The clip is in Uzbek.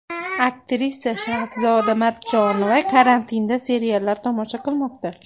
Aktrisa Shahzoda Matchonova karantinda seriallar tomosha qilmoqda.